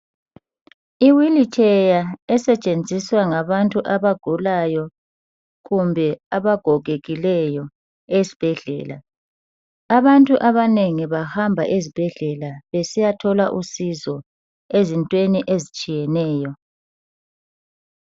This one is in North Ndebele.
I wilitsheya esetshenziswa ngabantu abagulayo kumbe abagogekileyo esibhedlela. Abantu abanengi bahamba ezibhedlela besiyathola usizo ezintweni ezitshiyeneyo